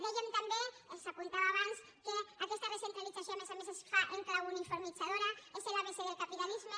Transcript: dèiem també s’apuntava abans que aquesta recentralització a més a més es fa en clau uniformitzadora és l’abecé del capitalisme